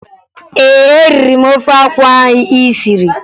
Ee, eriri m ofe akwụ ahụ ị siri